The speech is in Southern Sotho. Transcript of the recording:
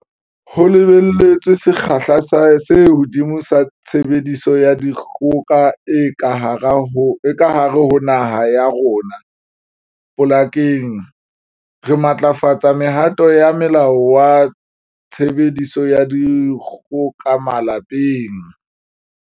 Ho lebelletswe sekgahla se hodimo sa tshebediso ya dikgoka e ka hare ho naha ya rona balekaneng, re matlafaditse mehato ya Molao wa Tshebediso ya Dikgoka Malapeng.